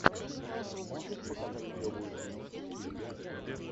можешь показать клевую киношку в стиле биографии